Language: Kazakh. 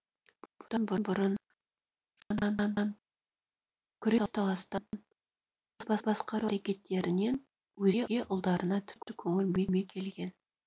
бұдан бұрын жорықтан күрес таластан ел басқару әрекеттерінен өзге ұлдарына тіпті көңіл бөлмей келген